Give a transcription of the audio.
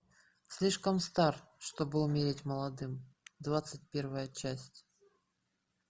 слишком стар чтобы умереть молодым двадцать первая часть